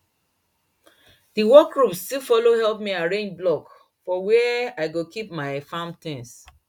the work group still follow help me arrange block for where i go keep my farm things